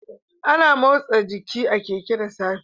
Ana motsa giki a Keke da safe